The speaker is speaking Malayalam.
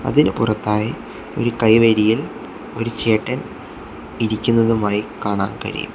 അതിന് പുറത്തായി ഒരു കൈവരിയിൽ ഒരു ചേട്ടൻ ഇരിക്കുന്നതുമായി കാണാൻ കഴിയും.